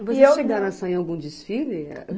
E vocês chegaram a sair em algum desfile?